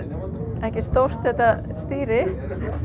ekki stórt þetta stýri